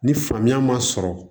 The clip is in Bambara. Ni faamuya ma sɔrɔ